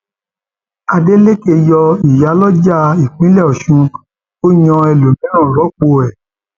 adeleke yọ ìyálójà ìpínlẹ ọṣún ó yan um ẹlòmíín rọpò ẹ